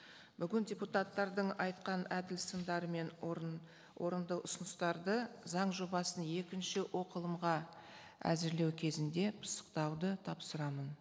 бүгін депутаттардың айтқан әділ сындары мен орынды ұсыныстарды заң жобасын екінші оқылымға әзірлеу кезінде пысықтауды тапсырамын